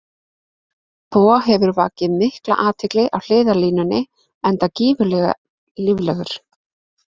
Bo hefur vakið mikla athygli á hliðarlínunni enda gríðarlega líflegur.